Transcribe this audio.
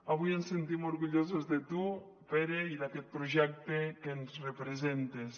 avui ens sentim orgullosos de tu pere i d’aquest projecte en què ens representes